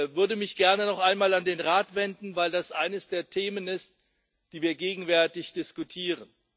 Ich würde mich gerne noch einmal an den Rat wenden, weil das eines der Themen ist, die wir gegenwärtig diskutieren.